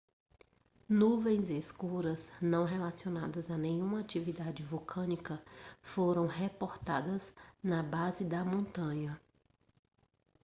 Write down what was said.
nuvens escuras não relacionadas a nenhuma atividade vulcânica foram reportadas na base da montanha